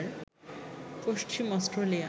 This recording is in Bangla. পশ্চিম অস্ট্রেলিয়া